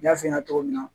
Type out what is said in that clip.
N y'a f'i ɲɛna cogo min na